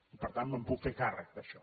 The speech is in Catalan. i per tant me’n puc fer càrrec d’això